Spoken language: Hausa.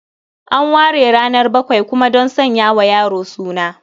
An ware ranar bakwai kuma don sanya wa yaro suna.